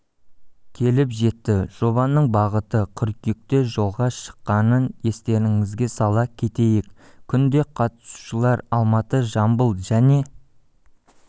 келіп жетті жобаның бағыты қыркүйекте жолға шыққанын естеріңізге сала кетейік күнде қатысушылар алматы жамбыл және